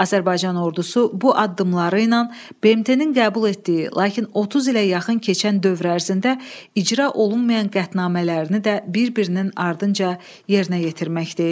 Azərbaycan ordusu bu addımları ilə BMT-nin qəbul etdiyi, lakin 30 ilə yaxın keçən dövr ərzində icra olunmayan qətnamələrini də bir-birinin ardınca yerinə yetirməkdə idi.